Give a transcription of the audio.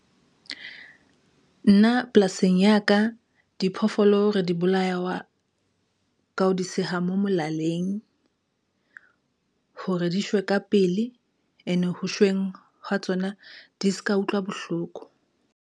Nna polasing ya ka, diphoofolo re di bolaya ka ho di seha mo molaleng hore di shwe ka pele ene ho shweng hwa tsona di ska utlwa bohloko.